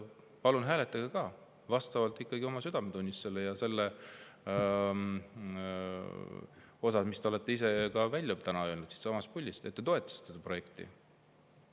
Palun hääletage siis vastavalt oma südametunnistusele ja selle järgi, mis te olete ise välja öelnud siitsamast puldist – et te toetate seda projekti.